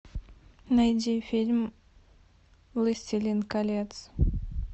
найди фильм властелин колец